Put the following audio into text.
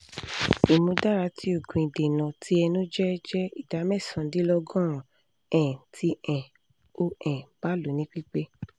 imudara ti oogun idena ti ẹnu jẹ jẹ ida mẹsan-dinlọgọrun um ti um o um ba lo ni pipe